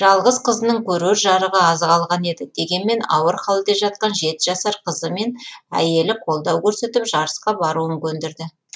жалғыз қызының көрер жарығы аз қалған еді дегенмен ауыр халде жатқан жеті жасар қызы мен әйелі қолдау көрсетіп жарысқа баруын көндірді